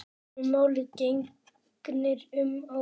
Öðru máli gegnir um ávexti.